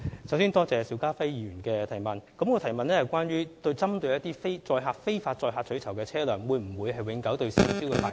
首先多謝邵家輝議員的提問，他的補充質詢是問那些非法載客取酬的車輛會否被永久吊銷車輛牌照。